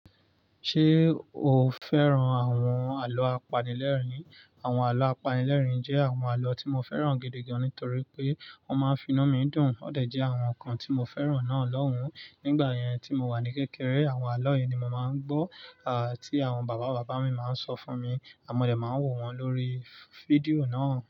Ṣé o fẹ́ràn àwọn àlọ́ apanilẹ́rìn? Àwọn àlọ́ apanilẹ́rìn jẹ́ àwọn àlọ́ tí mo fẹ́ràn gidi gan-an nítorí pé wọ́n máa ń finu mii dùn. O dẹ̀ jẹ́ àwọn kan tí mo fẹ́ràn náà lọ́hùn. Nígbà yẹn tí mo wà ní kékeré, àwọn àlọ́ yìí ni mo máa ń gbọ́, tí àwọn bàbá bàbá mi máa ń sọ fún mi àn mo dẹ̀ máa ń wò wọ́n lórí fídíò náà.